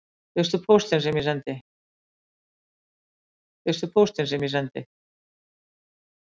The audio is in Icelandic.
Fékkstu póstinn sem ég sendi